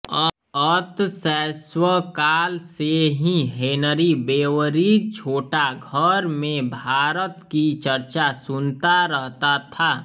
अत शैशवकाल से ही हेनरी बेवरिज छोटा घर में भारत की चर्चा सुनता रहता था